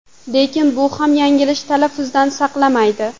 Lekin bu ham yanglish talaffuzdan saqlamaydi.